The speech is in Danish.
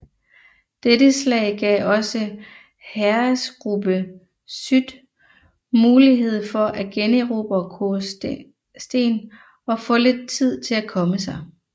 Dette slag gav også Heeresgruppe Süd mulighed for at generobre Korosten og få lidt tid til at komme sig